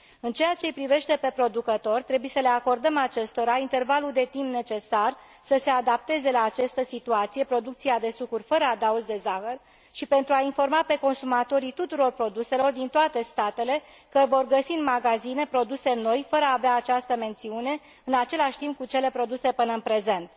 În ceea ce îi privește pe producători, trebuie să le acordăm acestora intervalul de timp necesar să se adapteze la această situație producția de sucuri fără adaos de zahăr și pentru a informa pe consumatorii tuturor produselor din toate statele că vor găsi în magazine produse noi, fără a avea această mențiune, în același timp cu cele produse până în prezent.